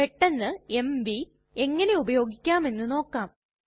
പെട്ടന്ന് എംവി എങ്ങനെ ഉപയോഗിക്കാമെന്ന് നോക്കാം